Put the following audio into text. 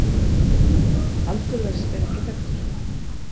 Aldur þess er ekki þekktur.